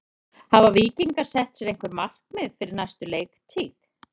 Hafa Víkingar sett sér einhver markmið fyrir næstu leiktíð?